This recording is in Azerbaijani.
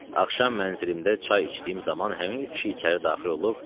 Axşam mənzilimdə çay içdiyim zaman həmin kişi içəri daxil olub: